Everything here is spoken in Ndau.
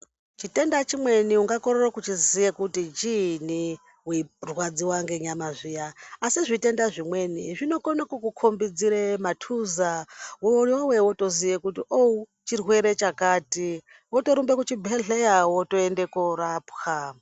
Chitenda chimweni ungakorere kuchiziya kuti chiini weirwadziwa ngenyama zviya, asi zvitenda zvimweni zvinokone kukukhombidzira matuza, iwewe wotoziye kuti o-o chirwere chakati, wotorumbe kuchibhedhlera wotoende korapiwa.